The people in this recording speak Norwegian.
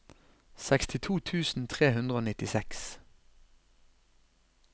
sekstito tusen tre hundre og nittiseks